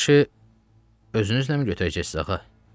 Plaşı özünüzləmi götürəcəksiniz, ağa?